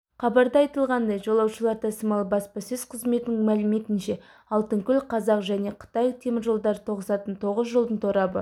хабарда айтылғандай жолаушылар тасымалы баспасөз қызметінің мәліметінше алтынкөл қазақ және қытай теміржолдары тоғысатын тоғыз жолдың торабы